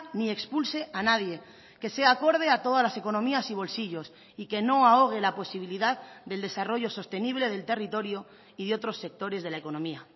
ni expulse a nadie que sea acorde a todas las economías y bolsillos y que no ahogue la posibilidad del desarrollo sostenible del territorio y de otros sectores de la economía